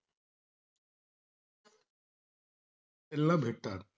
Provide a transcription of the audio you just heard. ला भेटतात